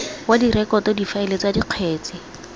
wa direkoto difaele tsa dikgetse